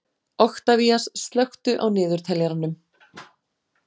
Oktavías, slökktu á niðurteljaranum.